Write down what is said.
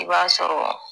I b'a sɔrɔ